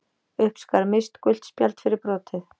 Uppskar Mist gult spjald fyrir brotið.